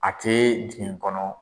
A tɛ jigin n kɔnɔ